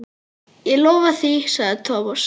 Ég lofa því sagði Thomas.